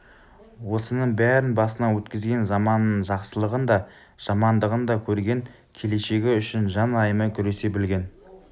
осының бәрін басынан өткізген заманының жақсылығын да жамандығын да көрген келешегі үшін жан аямай күресе білген